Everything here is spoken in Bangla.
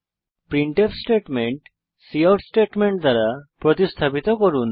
প্রিন্টফ স্টেটমেন্ট কাউট স্টেটমেন্ট দ্বারা প্রতিস্থাপিত করুন